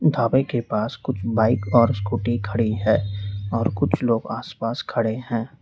ढाबे के पास कुछ बाइक और स्कूटी खड़ी है और कुछ लोग आस पास खड़े हैं।